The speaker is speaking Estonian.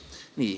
Nii.